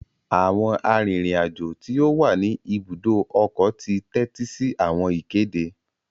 Awọn arinrin-ajo ti o wá ní ibùdó ọkọ ti tẹtisi awọn ìkéde